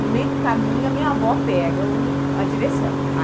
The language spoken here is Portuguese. No meio do caminho, a minha avó pega o a direção.